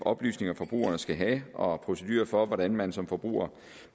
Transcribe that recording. oplysninger forbrugerne skal have og procedurer for hvordan man som forbruger